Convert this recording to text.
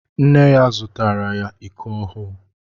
Nne ya zụtaara ya iko ọhụụ.